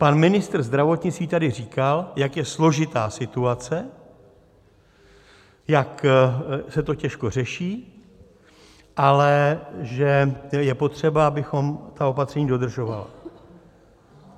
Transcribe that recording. Pan ministr zdravotnictví tady říkal, jak je složitá situace, jak se to těžko řeší, ale že je potřeba, abychom ta opatření dodržovali.